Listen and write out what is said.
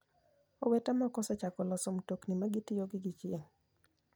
Owete moko osechako loso mtokni ma gitiyo gi chieng'.